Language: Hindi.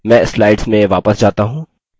मैं slides में वापस जाता हूँ